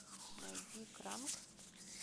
найди кранк